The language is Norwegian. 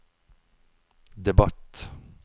debatt